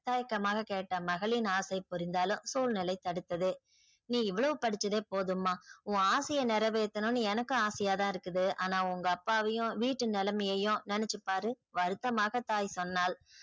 தயக்கமாக கேட்ட மகளின் ஆசை புரிந்தாளும் சூழ்நிலை தடுத்தது நீ இவ்ளோவு படிச்சதே போதும்மா உன் ஆசையே நிரவேத்தனும்னு எனக்கு ஆசையா தான் இருக்குது ஆனா உங்க அப்பாவையும் வீட்டு நிலைமையும் நெனச்சி பாரு